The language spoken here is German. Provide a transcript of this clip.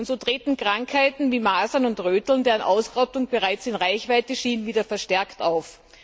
Und so treten Krankheiten wie Masern und Röteln, deren Ausrottung bereits in Reichweite schien, wieder verstärkt auf.